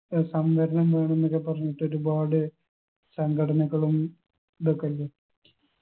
ഏർ സംവരണം വേണോന്നൊക്കെ പറഞ്ഞിട്ടൊരുപാട് സംഘടനകളും ഇതൊക്കില്ലെ